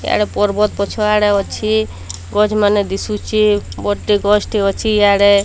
ଏଣେ ପର୍ବତ ପଛଆଡେ ଅଛି ଗଛମାନେ ଦିଶୁଚେ ବଡଟେ ଗଛଟେ ଅଛି ଇଆଡେ।